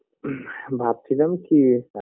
BREATHE ভাবছিলাম কি